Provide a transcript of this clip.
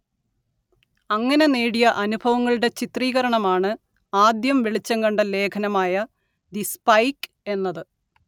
അങ്ങനെ നേടിയ അനുഭവങ്ങളുടെ ചിത്രീകരണമാണ് ആദ്യം വെളിച്ചം കണ്ട ലേഖനമായ ദി സ്പൈക്ക് എന്നത്